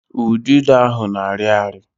Udido ahụ na-arị ari